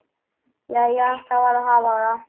Jæja, það varð að hafa það.